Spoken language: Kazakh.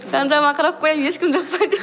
жан жағыма қарап қоямын ешкім жоқ па деп